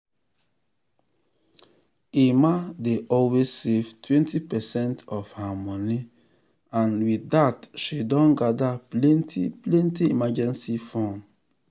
emma dey always save 20 percent of her money and with that she don gather plenty plenty emergency fund.